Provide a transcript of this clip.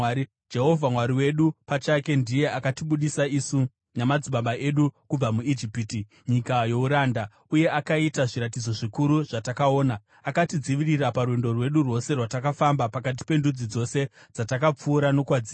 Jehovha Mwari wedu pachake, ndiye akatibudisa isu namadzibaba edu kubva muIjipiti, nyika youranda, uye akaita zviratidzo zvikuru zvatakaona. Akatidzivirira parwendo rwedu rwose rwatakafamba pakati pendudzi dzose dzatakapfuura nokwadziri.